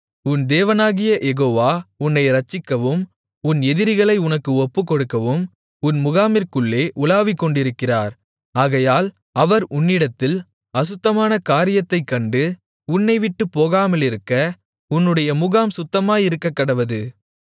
உன் தேவனாகிய யெகோவா உன்னை இரட்சிக்கவும் உன் எதிரிகளை உனக்கு ஒப்புக்கொடுக்கவும் உன் முகாமிற்குள்ளே உலாவிக்கொண்டிருக்கிறார் ஆகையால் அவர் உன்னிடத்தில் அசுத்தமான காரியத்தைக் கண்டு உன்னைவிட்டுப் போகாமலிருக்க உன்னுடைய முகாம் சுத்தமாயிருக்கக்கடவது